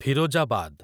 Firozabad